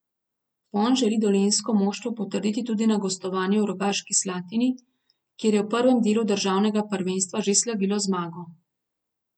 Vzpon želi dolenjsko moštvo potrditi tudi na gostovanju v Rogaški Slatini, kjer je v prvem delu državnega prvenstva že slavilo zmago.